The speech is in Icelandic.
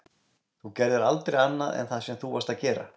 Þú gerðir aldrei annað en það sem þú varðst að gera.